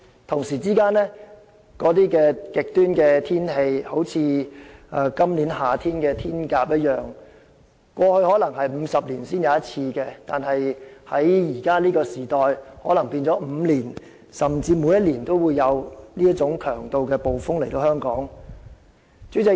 同時，極端天氣亦變得較常見，正如今年夏天的颱風"天鴿"，過去可能是50年一遇的暴風，但在現今世代，可能每5年甚至每年均有這種強度的暴風襲港。